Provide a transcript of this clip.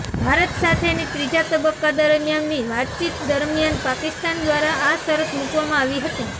ભારત સાથેની ત્રીજા તબક્કા દરમિયાનની વાતચીત દરમિયાન પાકિસ્તાન દ્વારા આ શરત મુકવામાં આવી હતી